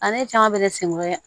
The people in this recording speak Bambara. A ne caman bɛ sen ko kɛ